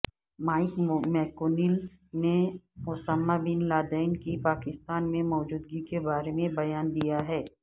mic McConnell نے Osama bin Laden کی پاکستان میں موجودگی کے بارے میں بیان دیاہے